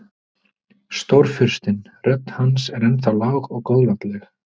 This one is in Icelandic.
Stórfurstinn, rödd hans er ennþá lág og góðlátleg.